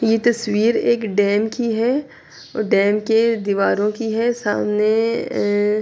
یہ تشویر ایک ڈیم کی ہے۔ ڈیم کے دیوارو کی ہے سامنے--